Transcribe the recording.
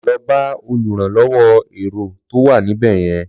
Lọ bá olùrànlọwọ èrò tó wà ní ibẹ̀yẹn.